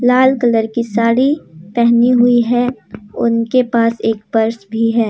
लाल colour की साड़ी पहनी हुई है उनके पास एक पर्स भी है।